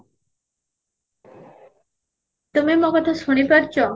ତମେ ମୋ କଥା ଶୁଣି ପାରୁଚ